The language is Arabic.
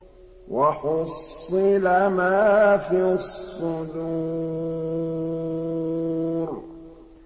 وَحُصِّلَ مَا فِي الصُّدُورِ